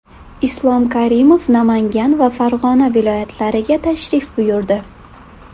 Islom Karimov Namangan va Farg‘ona viloyatlariga tashrif buyurdi.